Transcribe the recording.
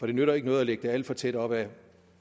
det nytter ikke noget at lægge den alt for tæt op af